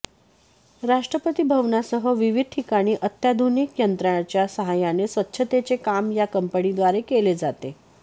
राष्ट्रपती भवनासह विविध ठिकाणी अत्याधुनिक यंत्रांच्या सहाय्याने स्वच्छतेचे काम या कंपनीद्वारे केले जाते